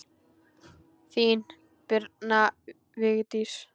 Þín, Birna Vigdís.